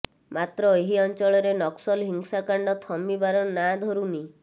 ମାତ୍ର ଏହି ଅଞ୍ଚଳରେ ନକ୍ସଲ ହିଂସାକାଣ୍ଡ ଥମିବାର ନଁ ଧରୁନି